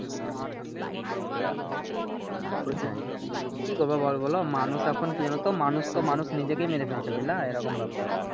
আহ সেটাই কি করবা বলো মানুষ এখন কি জানতো মানুষ তো মানুষ নিজেকে মেরে ফেলছে বুঝলা এইরকম ব্যাপার ।